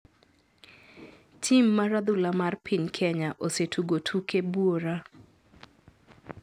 Tim mar adhula mar piny kenya osetugo tuke buora .